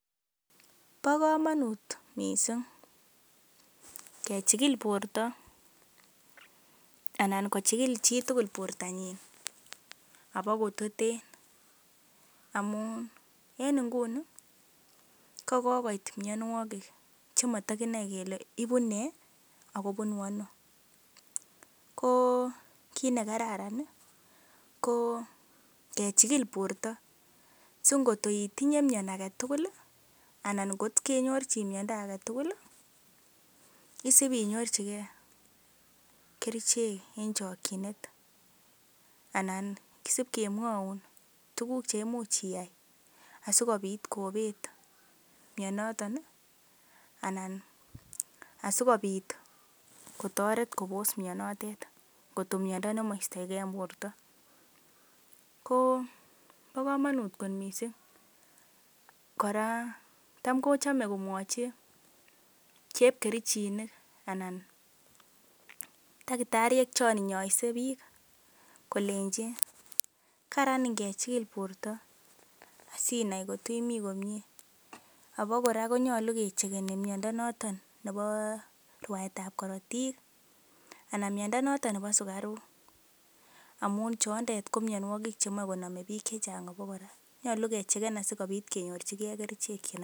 Bo komonut mising kechikil borto anan kochigil chi tugl bortanyin abakototen amun en nguni ko kogoit mianwogik che moto kinae kele ibune ago bunu ano. Ko kit ne kararan ko kechigil borto singotoitinye mian age tugul anan kot kenyorjin miando age tugul isibinyorjige kerichek en chokinet. Anan kisib kemwaun tuguk che imuch iyai asikobit kobet mianoto anan asikobit kotoret kobos mianotet kotko miando nemoistoge en borto. Ko bo komonut kot mising kora tam kochome komwachi chepkerichinik anan tagitariek chon inyoe biik kolenchi karan ingechigil borto asinai ngot imi komyee. Abakora konyolu kecheckeni miondo noto nebo rwaetab korotik anan miondo noton nebo sugaruk amun chondet ko mianwogik chemoe konome biik che chang abakora. Nyolu kechecken asikobit kenyorjige kerichek.